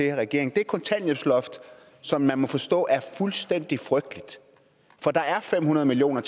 i regering det kontanthjælpsloft som man må forstå er fuldstændig frygteligt for der er fem hundrede million